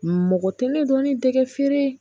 Mɔgɔ tɛ ne dɔnni dɛgɛ feere